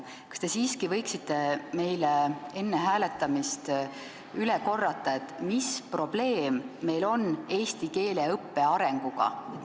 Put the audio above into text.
Kas te siiski võiksite meile enne hääletamist üle korrata, mis probleem meil on eesti keele õppe arenguga?